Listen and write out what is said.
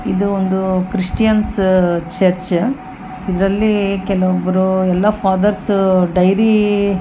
ಇದು ಒಂದು Christians church ಇದ್ರಲ್ಲಿ ಕೆಲವೊಬ್ರು ಎಲ್ಲೊ ಫಾದರ್ಸ್ ಡೈರಿ .